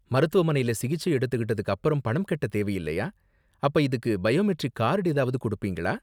மருத்துவமனைல சிகிச்சை எடுத்துகிட்டதுக்கு அப்பறம் பணம் கட்ட தேவையில்லையா, அப்ப இதுக்கு பயோமெட்ரிக் கார்டு ஏதாவது கொடுப்பீங்களா?